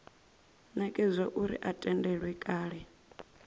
nekedzwa uri a tendelwe kale